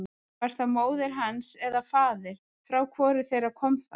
Var það móðir hans eða faðir, frá hvoru þeirra kom það?